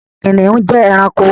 Kìnìún jẹ́ ẹranko.